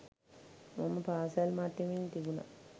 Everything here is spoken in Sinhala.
මම පාසල් මට්ටමින් තිබුණ